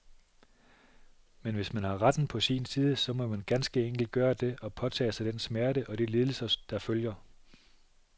Men hvis man har retten på sin side, så må man ganske enkelt gøre det, og påtage sig den smerte og de lidelser, der følger.